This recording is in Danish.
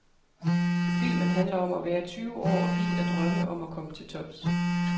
Filmen handler om at være tyve år og bidt af drømme om at komme til tops